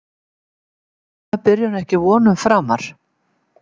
Er þessi draumabyrjun ekki vonum framar?